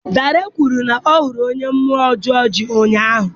Dare kwuru na ya hụrụ onye mmụọ ọjọọ ji ụnyahụ.